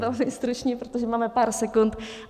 Velmi stručně, protože máme pár sekund.